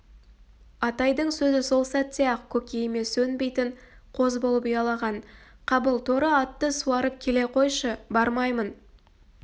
атайдың сөзі сол сәтте-ақ көкейіме сөнбейтін қоз болып ұялаған қабыл торы атты суарып келе қойшы бармаймын